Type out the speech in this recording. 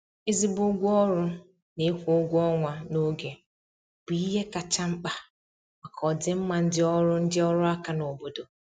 ezigbo ụgwọ ọrụ na ịkwụ ụgwọ ọnwa na oge bụ ihe kacha mkpa maka ọdịmma ndị ọrụ ndị ọrụ aka n' obodo